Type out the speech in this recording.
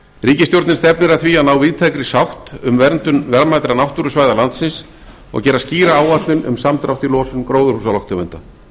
ríkisstjórnin stefnir að því að ná víðtækri sátt um verndun lögmætra náttúrusvæða landsins og gera skýra áætlun um samdrátt í losun gróðurhúsalofttegunda